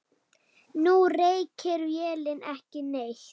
Nú reykir vélin ekki neitt.